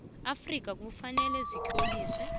afrika kufanele zitloliswe